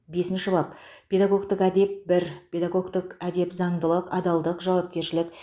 бесінші бап педагогтік әдеп бір педагогтік әдеп заңдылық адалдық жауапкершілік